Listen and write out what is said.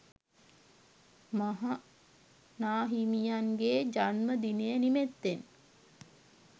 මහා නා හිමියන්ගේ ජන්ම දිනය නිමිත්තෙන්